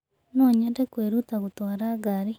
No nyende kwĩruta gũtwara ngari.